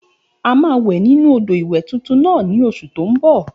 A máa wẹ̀ nínu odò ìwẹ̀ tuntun náà ní oṣù tó n bọ̀